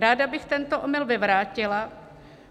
Ráda bych tento omyl vyvrátila.